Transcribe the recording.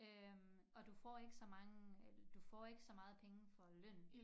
Øh og du får ikke så mange øh du får ikke så meget penge for lønnen